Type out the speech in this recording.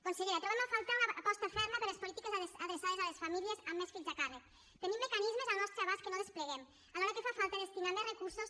consellera trobem a faltar una aposta ferma per les polítiques adreçades a les famílies amb més fills a càrrec tenim mecanismes al nostre abast que no despleguem alhora que fa falta destinar hi més recursos